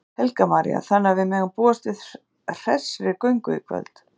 Helga María: Þannig að við megum búast við hressri göngu í kvöld?